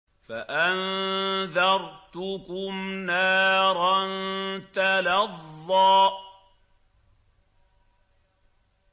فَأَنذَرْتُكُمْ نَارًا تَلَظَّىٰ